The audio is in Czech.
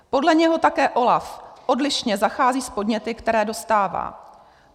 Podle něho také OLAF odlišně zachází s podněty, které dostává.